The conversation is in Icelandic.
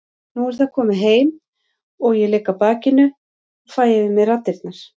Nú er það komið heim og ég ligg á bakinu og fæ yfir mig raddirnar.